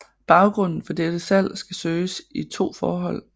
Baggrunden for dette salg skal søges i to forhold